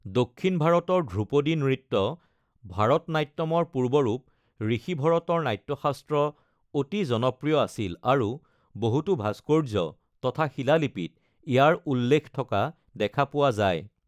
দক্ষিণ ভাৰতৰ ধ্ৰুপদী নৃত্য ভৰতনাট্যমৰ পূৰ্বৰূপ, ঋষি ভৰতৰ নাট্যশাস্ত্ৰ অতি জনপ্ৰিয় আছিল আৰু বহুতো ভাস্কৰ্য্য তথা শিলালিপিত ইয়াৰ উল্লেখ থকা দেখা পোৱা যায়।